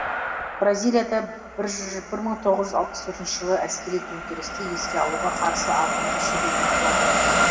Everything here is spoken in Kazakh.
бразилияда бір мың тоғыз жүз алпыс төртінші жылғы әскери төңкерісті еске алуға қарсы ауқымды шеру өтіп жатыр